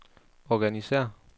organisér